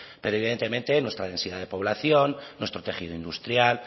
pero evidentemente nuestra densidad de población nuestro tejido industrial